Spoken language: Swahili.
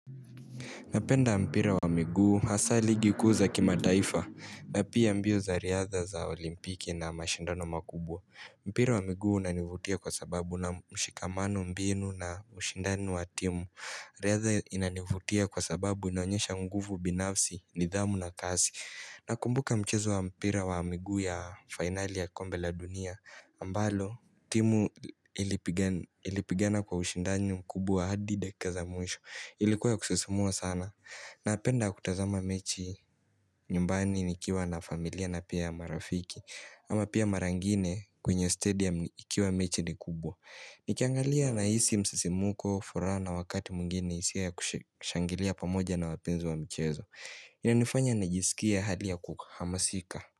Napenda mpira wa miguu hasa ligi kuza kimataifa. Napia mbio za riadha za olimpiki na mashindano makubwa. Mpira wa miguu unanivutia kwa sababu una mshikamano mbinu na ushindani wa timu. Riadha inanivutia kwa sababu inaonyesha nguvu binafsi, nidhamu na kasi. Nakumbuka mchezo wa mpira wa miguu ya finali ya kombe la dunia. Ambalo timu ilipigana kwa ushindani mkubwa hadi dakika za mwisho. Ilikuwa kusisimua sana napenda kutazama mechi nyumbani nikiwa na familia na pia marafiki. Ama pia mara ingine kwenye stadium nikiwa mechi ni kubwa. Nikiangalia nahisi msisimuko furaha na wakati mwingine hisia ya kushangilia pamoja na wapenzi wa mchezo. Inanifanya najisikia hali ya kuhamasika.